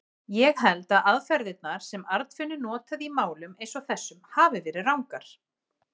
Ég held að aðferðirnar, sem Arnfinnur notaði í málum eins og þessum, hafi verið rangar.